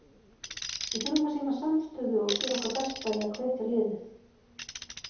Við þurfum að sýna samstöðu og gera okkar besta í að hvetja liðið.